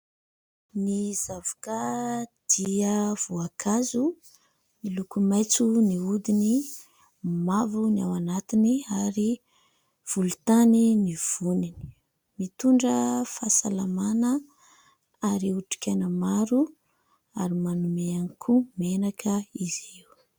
Ny zavoka dia voankazo miloko maitso ny hodiny, mavo ny ao anatiny ary volontany ny voniny. Mitondra fahasalamana ary otrikaina maro ary manome ihany koa menaka izy io.